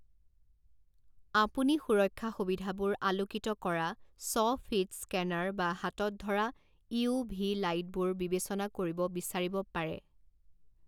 আপুনি সুৰক্ষা সুবিধাবোৰ আলোকিত কৰা স্ব ফিড স্কেনাৰ বা হাতত ধৰা ইউ ভি লাইটবোৰ বিবেচনা কৰিব বিচাৰিব পাৰে।